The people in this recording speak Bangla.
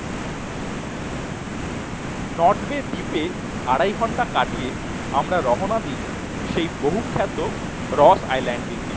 নর্থ বে দ্বীপে আড়াই ঘন্টা কাটিয়ে আমরা রহনাদি সেই বহুখ্যাত রস Island টির দিকে